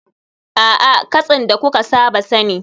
A'a, katsin da kuka saba sani